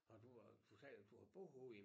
Har du øh du sagde da du har boet ude i